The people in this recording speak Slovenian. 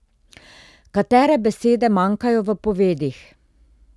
Katere besede manjkajo v povedih?